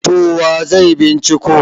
to wa zai binciko